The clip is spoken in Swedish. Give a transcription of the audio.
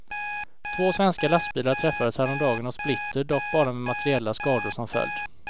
Två svenska lastbilar träffades häromdagen av splitter, dock bara med materiella skador som följd.